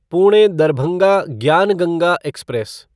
Pune Darbhanga Gyan Ganga express